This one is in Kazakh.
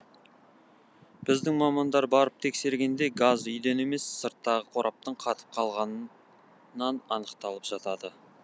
біздің мамандар барып тексергенде газ үйден емес сырттағы қораптың қатып қалғанынан анықталып жатады